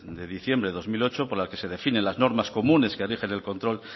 de diciembre de dos mil ocho por la que se definen las normas comunes que rigen el control